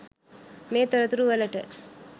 මේ තොරතුරු වලට